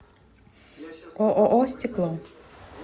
ооо стекло